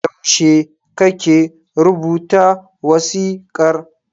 Yaushe kake rubuta wasiƙar?